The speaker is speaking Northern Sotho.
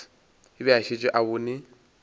be a šetše a bone